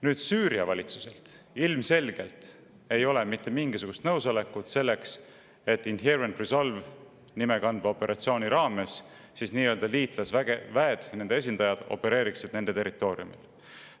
Kuid Süüria valitsuselt ilmselgelt ei ole mitte mingisugust nõusolekut selleks, et Inherent Resolve'i nime kandva operatsiooni raames nii-öelda liitlasväed ja nende esindajad opereeriksid nende territooriumil.